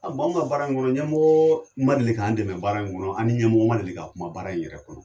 A anw ka baara in kɔnɔ, ɲamɔgɔ ma deli k' an dɛmɛ baara in kɔnɔ , ani ɲamɔgɔ ma deli ka kuma baara in yɛrɛ kɔnɔ!